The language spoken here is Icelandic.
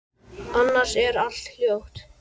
Annars er allt hljótt.